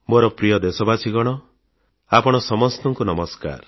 ମୋର ପ୍ରିୟ ଦେଶବାସୀଗଣ ଆପଣ ସମସ୍ତଙ୍କୁ ନମସ୍କାର